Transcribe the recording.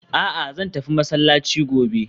A'a! Zan tafi masallaci gobe